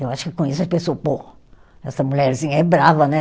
Eu acho que com isso ele pensou, pô, essa mulherzinha é brava, né?